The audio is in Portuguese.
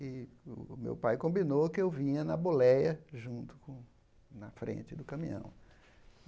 E o meu pai combinou que eu vinha na boleia junto com, na frente do caminhão.